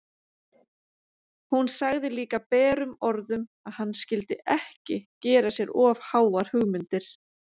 Hún sagði líka berum orðum að hann skyldi ekki gera sér of háar hugmyndir!